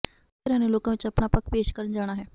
ਸਾਰੀਆਂ ਧਿਰਾਂ ਨੇ ਲੋਕਾਂ ਵਿੱਚ ਆਪਣਾ ਪੱਖ ਪੇਸ਼ ਕਰਨ ਜਾਣਾ ਹੈ